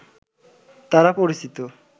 তারা পরিচিত